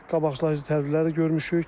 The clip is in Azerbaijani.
Qabaqlar tədbirləri görmüşük.